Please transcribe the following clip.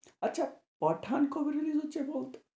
আচ্ছা পাঠান কবে release হচ্ছে বলতো?